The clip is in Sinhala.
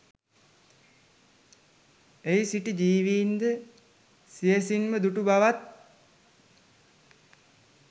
එහි සිටි ජීවින්ද සියැසින්ම දුටු බවත්,